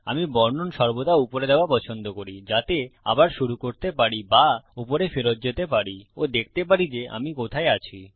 আমি বর্ণন সর্বদা উপরে দেওয়া পছন্দ করি যাতে আবার শুরু করতে পারি বা ওপরে ফেরত যেতে পারি ও দেখতে পারি যে আমি কোথায় আছি